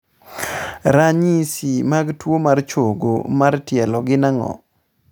Ranyisi mag tuo mar chogo mar tielo gin ang'o?